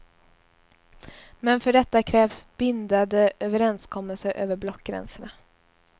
Men för detta krävs bindade överenskommelser över blockgränserna.